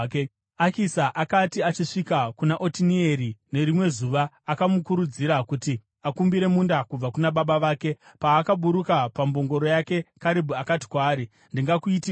Akisa akati achisvika kuna Otinieri nerimwe zuva, akamukurudzira kuti akumbire munda kubva kuna baba vake. Paakaburuka pambongoro yake Karebhu akati kwaari, “Ndingakuitireiko?”